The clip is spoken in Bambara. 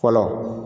Fɔlɔ